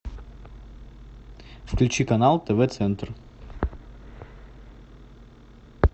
включи канал тв центр